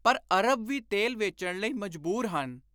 ਪਰ ਅਰਬ ਵੀ ਤੇਲ ਵੇਚਣ ਲਈ ਮਜਬੂਰ ਹਨ।